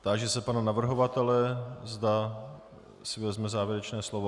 Táži se pana navrhovatele, zda si vezme závěrečné slovo.